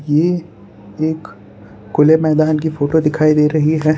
ये एक खुले मैदान की फोटो दिखाई दे रही है।